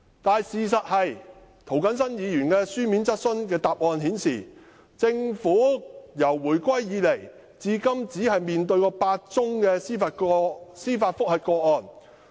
"但事實是，政府就涂謹申議員的書面質詢作出答覆，表示自回歸以來，至今只面對8宗司法覆核個案。